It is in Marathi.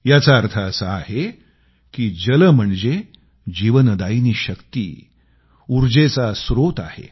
याच अर्थ असा आहे की जल म्हणजे जीवन दायिनी शक्ती ऊर्जेचे स्त्रोत आहे